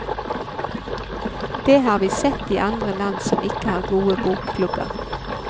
Det har vi sett i andre land som ikke har gode bokklubber.